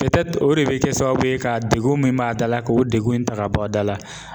o de be kɛ sababu ye ka dekun min b'a da la k'o dekun in ta ka bɔ a da la.